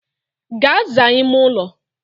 Gaa zaa ime ụlọ!